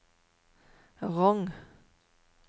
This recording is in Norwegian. Rong